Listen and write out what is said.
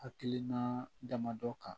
Hakilina damadɔ kan